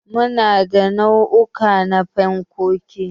Muna da nau'uka na fankoki.